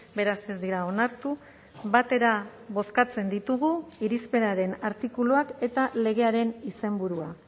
beraz ez dira onartu batera bozkatzen ditugu irizpenaren artikuluak eta legearen izenburua